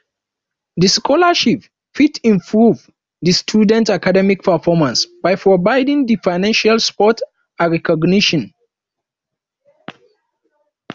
di scholarship fit improve di students academic performance by providing di financial support and recognition